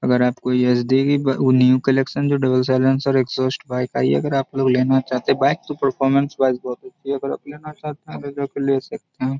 अगर आप कोई एच.डी. वो न्यू कनेक्शन जो डबल साइलेंसर एग्जॉस्ट बाइक आई है अगर आप लोग लेना चाहते हैं बाइक तो परफॉरमेंस वाइज । अगर आप लेना चाहते हैं तो आप जा के ले सकते हैं।